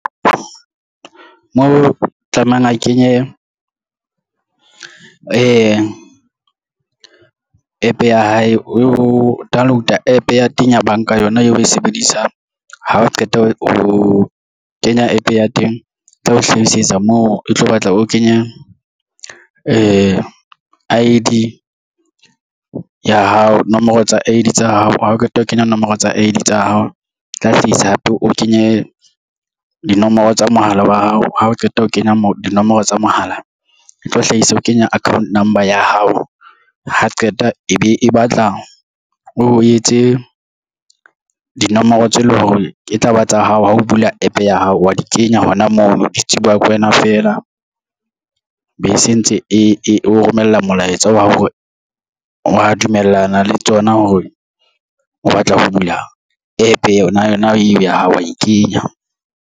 Mo tlamehang a kenye APP ya hae o download-a App ya teng ya banka yona eo oe sebedisang. Ha o qeta ho kenya App ya teng e tla o hlahisetsa mo e tlo batla o kenya I_D ya hao nomoro tsa I_D tsa hao. Ha o qeta ho kenya nomoro tsa I_D tsa hao tla hlahisa hape o kenye dinomoro tsa mohala wa hao. Ha o qeta ho kenya dinomoro tsa mohala etlo hlahisa o kenya account number ya hao ha qeta e be e batla o etse dinomoro tse leng hore ke taba tsa hao ha o bula App ya hao wa di kenya hona mono di tsebuwa ke wena fela be se ntse e o romella molaetsa wa hore wa dumellana le tsona hore o batla ho bula App yona, yona eo ya hao wa e kenya.